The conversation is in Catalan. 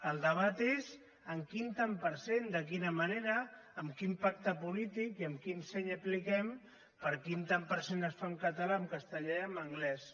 el debat és en quin tant per cent de quina manera amb quin pacte polític i amb quin seny apliquem per quin tant per cent es fa en català en castellà i en anglès